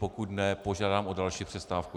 Pokud ne, požádám o další přestávku.